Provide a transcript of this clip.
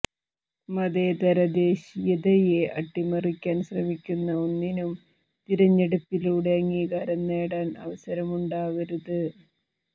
മതേതര ദേശീയതയെ അട്ടിമറിക്കാൻ ശ്രമിക്കുന്ന ഒന്നിനും തിരഞ്ഞെടുപ്പിലൂടെ അംഗീകാരം നേടാൻ അവസരമുണ്ടാവരുത്